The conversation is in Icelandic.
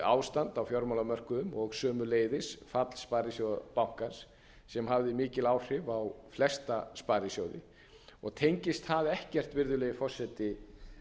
ástand á fjármálamörkuðum og sömuleiðis fall sparisjóðabankans sem hafði mikil áhrif á flesta sparisjóði og tengist það ekkert virðulegi forseti